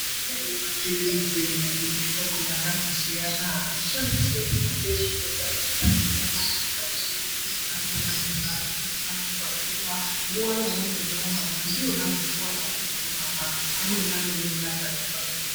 Kune maphirizi ane mihlobo yakandosiyana anoshandiswe kurape zvitenda zvakasiyana. Amweni maphirizi akona anozi anomwive kamwe pazuva. Nguva yaunenge vamamwa ndiyonazve nguva yaunozomamwa amweni anomwive katatu pazuva.